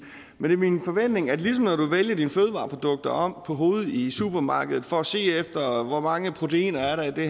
men det er min forventning at ligesom når du vender dine fødevareprodukter om på hovedet i supermarkedet for at se efter hvor mange proteiner der er i det